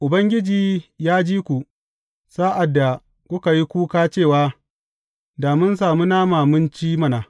Ubangiji ya ji ku sa’ad da kuka yi kuka cewa, Da mun sami nama mun ci mana!